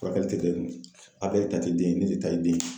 Furakɛli ti kɛ , Abulayi ta ti den ye. Ne de ta ye den ye.